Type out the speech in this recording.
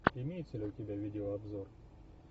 имеется ли у тебя видеообзор